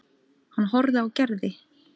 Hann horfði á Gerði.